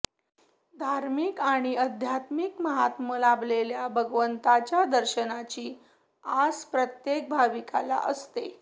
धार्मिक आणि अध्यात्मिक महात्म्य लाभलेल्या भगवंतांच्या दर्शनाची आस प्रत्येक भाविकाला असते